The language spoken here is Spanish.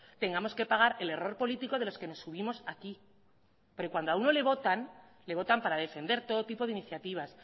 tengamos que pagar el error político de los que nos subimos aquí pero cuando a uno le votan le votan para defender todo tipo de iniciativas